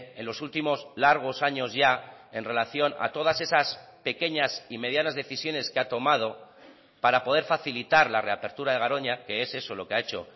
en los últimos largos años ya en relación a todas esas pequeñas y medianas decisiones que ha tomado para poder facilitar la reapertura de garoña que es eso lo que ha hecho